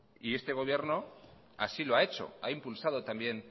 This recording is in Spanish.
y este gobierno así lo ha hecho ha impulsado también